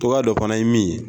Cogoya dɔ fana ye min ye